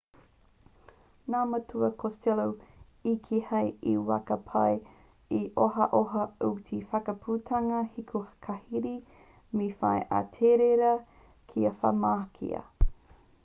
nā matua costello i kī hei te wā ka pai ā-ohaoha te whakaputanga hiko karihi me whai a ahitereiria kia whakamahia